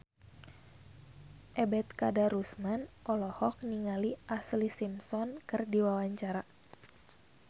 Ebet Kadarusman olohok ningali Ashlee Simpson keur diwawancara